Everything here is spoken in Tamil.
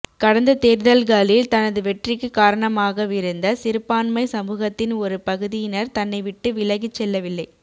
கடந்த தேர்தல்களில் தனது வெற்றிக்கு காரணமாகவிருந்த சிறுபான்மை சமூகத்தின் ஒரு பகுதியினர் தன்னை விட்டு விலகிச் செல்லவில்லை